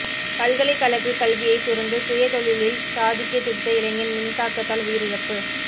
பல்கலைக்கழக கல்வியை துறந்து சுய தொழிலில் சாதிக்க துடித்த இளைஞன் மின்தாக்கத்தால் உயிரிழப்பு